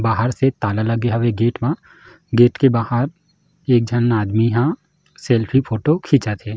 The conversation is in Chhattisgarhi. बाहर से ताला लगे हवे गेट म गेट के बाहर एक झन आदमी ह सेल्फी फोटो खीचत हे।